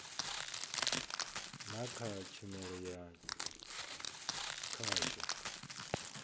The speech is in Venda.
na kha tshumelo ya khasho